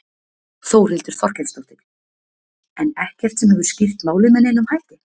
Þórhildur Þorkelsdóttir: En ekkert sem hefur skýrt málið með neinum hætti?